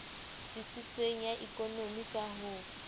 tsitsitseng ya ekonomi ka ho